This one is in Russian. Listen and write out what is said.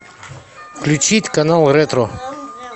включить канал ретро